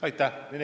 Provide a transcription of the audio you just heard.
Aitäh!